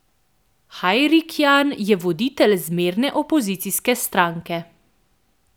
Hajrikjan je voditelj zmerne opozicijske stranke.